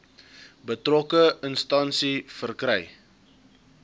betrokke instansie verkry